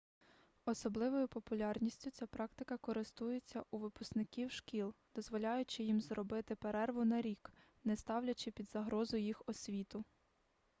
особливою популярністю ця практика користується у випускників шкіл дозволяючи їм зробити перерву на рік не ставлячи під загрозу їх освіту